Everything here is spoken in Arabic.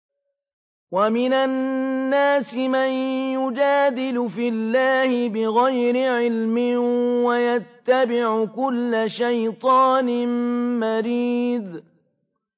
وَمِنَ النَّاسِ مَن يُجَادِلُ فِي اللَّهِ بِغَيْرِ عِلْمٍ وَيَتَّبِعُ كُلَّ شَيْطَانٍ مَّرِيدٍ